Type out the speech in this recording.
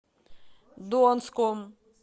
донском